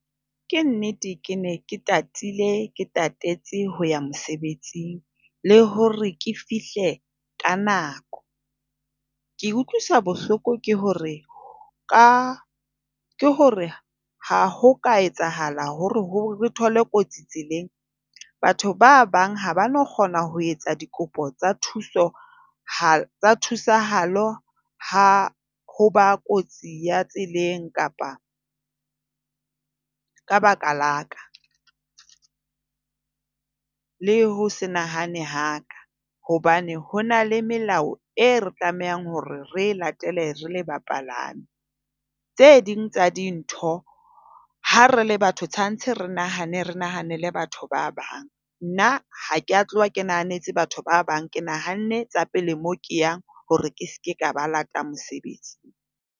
Ke nnete ke ne ke tatile, ke tatetse ho ya mosebetsing le hore ke fihle ka nako. Ke utlwisa bohloko ke hore ka ke hore ha ho ka etsahala hore re thole kotsi tseleng, batho ba bang ha ba no kgona ho etsa dikopo tsa thusohalo ha ho ba kotsi ya tseleng kapa ka baka la ka, le ho se nahane ha ka. Hobane ho na le melao e re tlamehang hore re latele re le bapalami. Tse ding tsa dintho, ha re le batho tshwantshe re nahane, re nahanele batho ba bang. Nna ha ke a tloha ke nahanetse batho ba bang. Ke nahanne tsa pele moo ke yang hore ke se ke ka ba late mosebetsing.